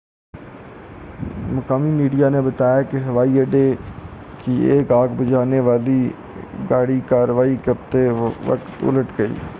مقامی میڈیا نے بتایا کہ ہوائی اڈے کی ایک آگ بھجانے والی گاڑی کاروائی کرتے وقت الٹ گئی